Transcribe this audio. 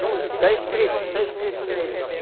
Está escrito, está escrito nele.